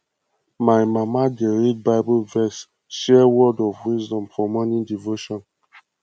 my mama dey read bible verse share words of wisdom for morning devotion